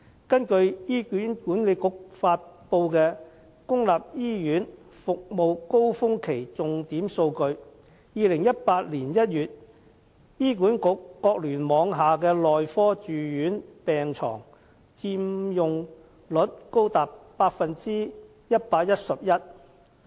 根據醫院管理局發布的"公立醫院服務高峰期重點數據"，在2018年1月醫管局各聯網下的內科住院病床佔用率高達 111%。